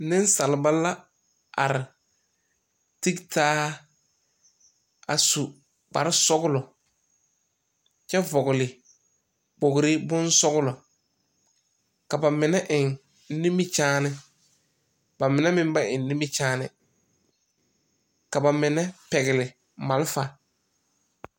Nesalba la are tegtaa a su kpare sɔglɔ kyɛ vogle kpore bon sɔglɔ. Ka ba mene eŋ nimikyaane. Ba mene meŋ ba eŋ nimikyaane. Ka ba mene pɛgle malfa